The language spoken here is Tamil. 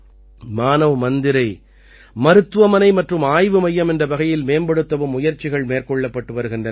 மானவ் மந்திரை மருத்துவமனை மற்றும் ஆய்வு மையம் என்ற வகையில் மேம்படுத்தவும் முயற்சிகள் மேற்கொள்ளப்பட்டு வருகின்றன